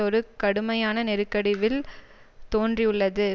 ஒரு கடுமையான நெருக்கடி வில் தோன்றியுள்ளது